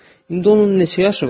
İndi onun neçə yaşı var?